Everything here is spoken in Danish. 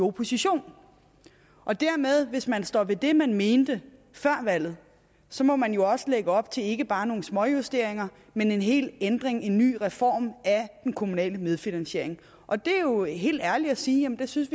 opposition hvis man står ved det man mente før valget så må man jo også lægge op til ikke bare nogle småjusteringer men en hel ændring en ny reform af den kommunale medfinansiering og det er jo helt ærligt at sige at det synes